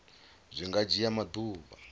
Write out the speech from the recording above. zwi nga dzhia maḓuvha a